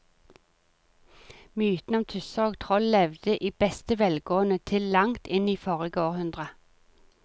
Mytene om tusser og troll levde i beste velgående til langt inn i forrige århundre.